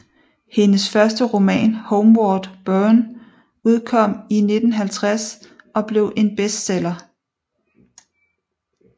Hendes første roman Homeward Bourne udkom i 1950 og blev en bestseller